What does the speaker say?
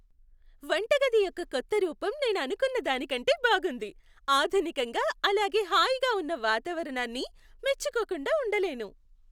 వంటగది యొక్క కొత్త రూపం నేను అనుకున్న దానికంటే బాగుంది, ఆధునికంగా అలాగే హాయిగా ఉన్న వాతావరణాన్ని మెచ్చుకోకుండా ఉండలేను.